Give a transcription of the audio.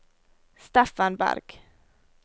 Steffen Bergh